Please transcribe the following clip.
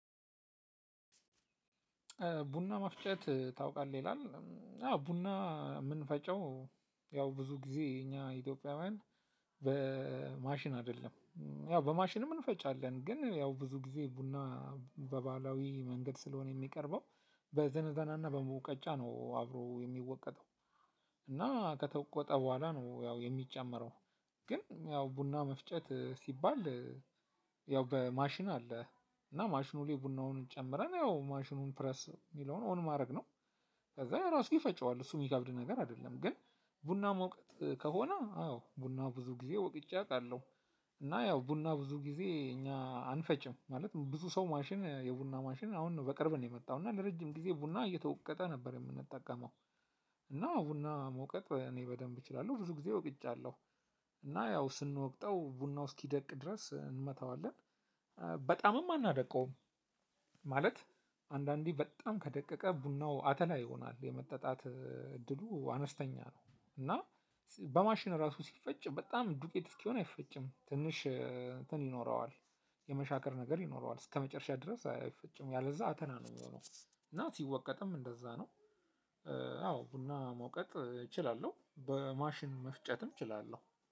ቡና መፍጨት ታውቃለህ? ይላል አዎ ቡና ምንፈጭው ብዙ ጊዜ እኛ ኢትጶውያን በማሽን አይደለም ያው በማሽን እንፈጫልን ግን ብዙ ጊዜ በባህላዊ መንገድ ስለሆነ የሚቀርበው በዘነዘናና በሙቀጫ ነው አብሮ የሚወቀጠው እና ከተቆጠ በኋላ ነው ያው የሚጨመረው ግን ያው ቡና መፍጨት ሲባል ያው በማሽን አለ እና ማሽኑ ላይ ቡናውን ጨምረን ያው ማሽኑን ፕረስ የሚለውን ኦን ማድረግ ነው ከዛ ራሱ ይፈጨዋል እሱ የሚከብድ ነገር አይደለም ግን ቡና መውቀጥ ከሆነ አዎ ቡና ብዙ ጊዜ ወቅጬ አውቃለሁ። እና ያው ቡና ብዙ ጊዜ እኛ አንፈጭም ማለት ብዙ ሰው ማሽን የቡና ማሽን አሁን በቅርብ ነው የመጣው እና ለረጅም ጊዜ ቡና እየተወቀጠ ነበር የምንጠቀመው እና ቡና መውቀጥ እኔ በደንብ እችላለሁ ብዙ ጊዜ ውቅጫልሁ። እና ያው ስንወቅጠው ቡናው እስኪደቅ ድረስ እንመታዋለን በጣምም አናደቀውም ማለት አንዳንዴ በጣም ከደቀቀ ቡናው አተላ ይሆናል የመጠጣት እድሉ አነስተኛ ነው እና በማሽን ራሱ ሲፈጭ በጣም ዱቄት እስኪሆን አይፈጭም ትንሽ እንትን ይኖረዋል የመሻከር ነገር ይኖረዋል እስከመጨረሻ ድረስ አይፈጭም ያለዛ አተል ነው የሚሆነው እና ሲወቀጥም እንደዛ ነው አዎ ቡና መውቀት እችላለሁ በማሽን መፍጨትም እችላለሁ።